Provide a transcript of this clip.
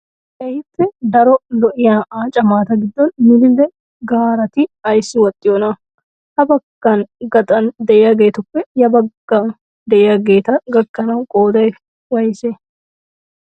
Keehippe daro lo'iyaa aaca maata gidoon milile gaarati ayissi woxxiyoona? Ha bagga gaxan diyaagetuppe ya baggan diyaageeta gakkanawu qooday woyisee?